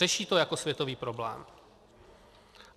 Řeší to jako světový problém.